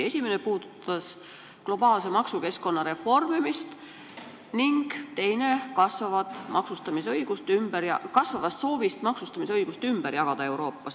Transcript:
Esimene puudutas globaalse maksukeskkonna reformimist ning teine kasvavat soovi maksustamisõigus Euroopas ümber jagada.